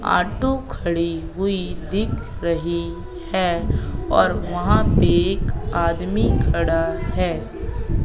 Auto खड़ी हुई दिख रही है और वहां पे एक आदमी खड़ा है।